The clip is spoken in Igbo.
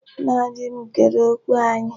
Nna di m kere okwu anyị.